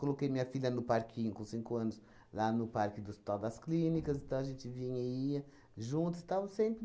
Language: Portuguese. minha filha no parquinho com cinco anos, lá no parque do Hospital das Clínicas, então a gente vinha e ia juntas, estava sempre